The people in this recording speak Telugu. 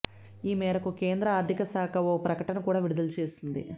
ఈ మేరకు కేంద్ర ఆర్థిక శాఖ ఓ ప్రకటన కూడా విడుదల చేసింది